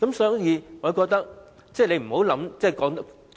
所以，我覺得政府不要過於吹噓。